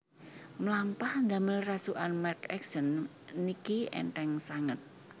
Mlampah ndamel rasukan merk Accent niki entheng sanget